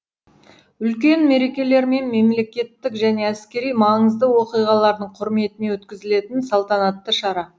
үлкен мерекелер мен мемлекеттік және әскери маңызды оқиғалардың құрметіне өткізілетін салтанатты шара